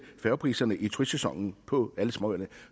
færgepriserne i turistsæsonen på alle småøer